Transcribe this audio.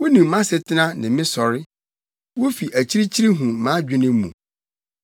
Wunim mʼasetena ne me sɔre; wufi akyirikyiri hu mʼadwene mu.